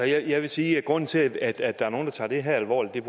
jeg vil sige at grunden til at der er nogle der tager det her alvorligt er